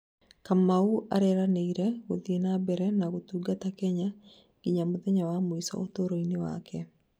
Kamau areranĩire gũthiĩ na mbere na gũtũngata Kenya nginya mũthenya wa mũico ũtũro-ini wake